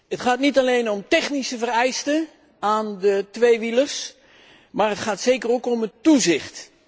Het gaat niet alleen om technische vereisten aan de tweewielers, maar zeker ook om het toezicht.